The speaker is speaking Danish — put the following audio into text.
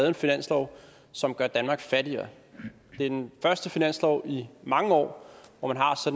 en finanslov som gør danmark fattigere det er den første finanslov i mange år hvor man